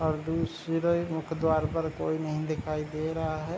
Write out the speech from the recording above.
और मुख्य द्वार पर कोई नहीं दिख रहा है।